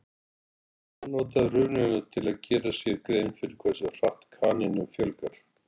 Hann notaði rununa til að gera sér grein fyrir hversu hratt kanínum fjölgar.